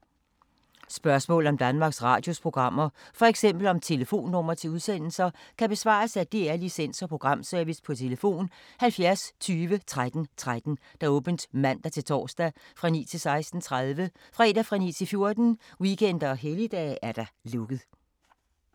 Spørgsmål om Danmarks Radios programmer, f.eks. om telefonnumre til udsendelser, kan besvares af DR Licens- og Programservice: tlf. 70 20 13 13, åbent mandag-torsdag 9.00-16.30, fredag 9.00-14.00, weekender og helligdage: lukket.